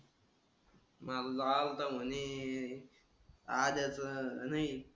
माझं तो आलाता म्हणे आह्याचं नाही,